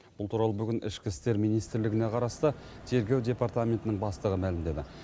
бұл туралы бүгін ішкі істер министрлігіне қарасты тергеу департаментінің бастығы мәлімдеді